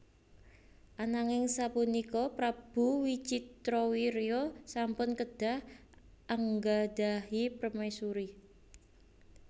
Ananing sapunika Prabu Wicitrawirya sampun kedah anggadhahi permaisuri